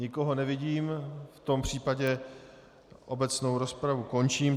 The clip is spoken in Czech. Nikoho nevidím, v tom případě obecnou rozpravu končím.